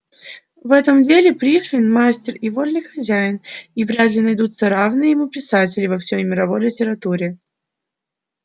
в этом деле пришвин мастер и вольный хозяин и вряд ли найдутся равные ему писатели во всей мировой литературе